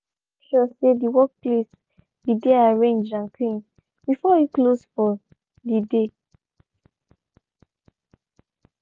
he make sure de workplace be de arranged and clean before e close for dey.